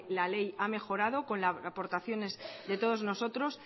la ley ha mejorado con aportaciones de todos nosotros